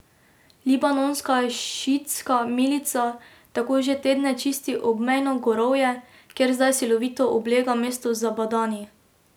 Libanonska šiitska milica tako že tedne čisti obmejno gorovje, kjer zdaj silovito oblega mesto Zabadani.